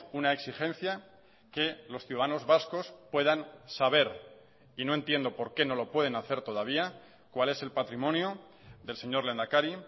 una exigencia que los ciudadanos vascos puedan saber y no entiendo por qué no lo pueden hacer todavía cuál es el patrimonio del señor lehendakari